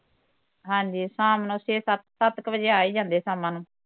ਹਾਂਜੀ ਸ਼ਾਮ ਨੂੰ ਛੇ ਸੱਤ, ਸੱਤ ਕੇ ਵਜੇ ਆ ਈ ਜਾਂਦੇ ਸ਼ਾਮਾ ਨੂੰ